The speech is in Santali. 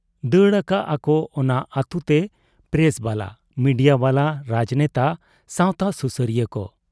ᱫᱟᱹᱲ ᱟᱠᱟᱜ ᱟᱠᱚ ᱚᱱᱟ ᱟᱹᱛᱩᱛᱮ ᱯᱨᱮᱥᱵᱟᱞᱟ, ᱢᱤᱰᱤᱭᱟ ᱵᱟᱞᱟ, ᱨᱟᱡᱽᱱᱮᱛᱟ, ᱥᱟᱶᱛᱟ ᱥᱩᱥᱟᱹᱨᱤᱭᱟᱹ ᱠᱚ ᱾